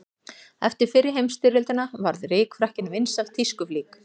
Eftir fyrri heimsstyrjöldina varð rykfrakkinn vinsæl tískuflík.